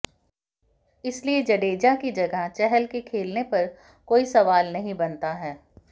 इसलिए जडेजा की जगह चहल के खेलने पर कोई सवाल ही नहीं बनता है